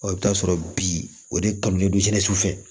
i bɛ taa sɔrɔ bi o de kanu bɛ don su fɛ